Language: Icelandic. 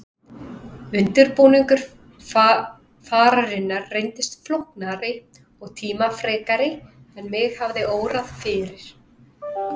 Undirbúningur fararinnar reyndist flóknari og tímafrekari en mig hafði órað fyrir.